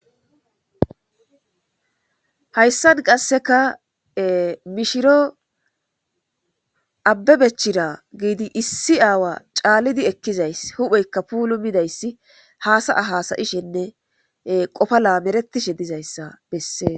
hayssan qasseka mishiro abbe bechira giidi issi aawa caallidi ekkizays hupheykka puulu midayssi haasaya hasayishenne qofala meretishe dizayssa bessee